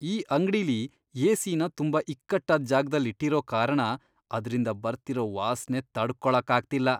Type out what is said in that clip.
ಈ ಅಂಗ್ಡಿಲಿ ಏ.ಸಿ.ನ ತುಂಬಾ ಇಕ್ಕಟ್ಟಾದ್ ಜಾಗ್ದಲ್ ಇಟ್ಟಿರೋ ಕಾರಣ ಅದ್ರಿಂದ ಬರ್ತಿರೋ ವಾಸ್ನೆ ತಡ್ಕೊಳಕ್ಕಾಗ್ತಿಲ್ಲ.